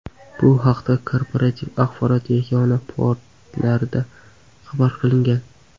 Bu haqda Korporativ axborot yagona portalida xabar qilingan .